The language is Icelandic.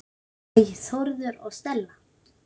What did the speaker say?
Þinn, Jón Þórður og Stella.